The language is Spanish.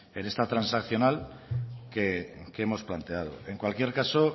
en esta transaccional que hemos planteado en cualquier caso